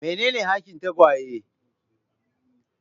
Menene hakin tagwaye?